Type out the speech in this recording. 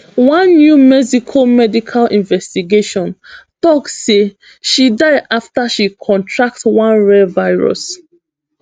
one new mexico medical investigation tok say she die afta she contract one rare virus